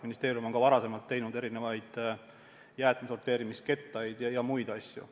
Ministeerium on ka varem teinud erinevaid jäätmete sorteerimise kettaid ja muid asju.